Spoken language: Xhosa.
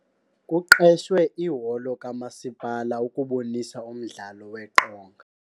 Kuqeshwe iholo kamasipala ukubonisa umdlalo weqonga.